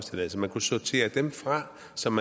som